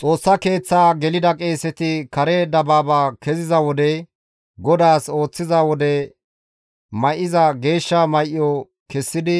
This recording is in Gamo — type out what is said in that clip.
Xoossa Keeththa gelida qeeseti kare dabaaba keziza wode, GODAAS ooththiza wode may7ida geeshsha may7o kessidi,